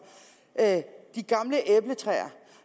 at de gamle æbletræer